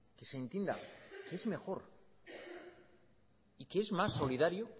que se entienda que es mejor y que es más solidario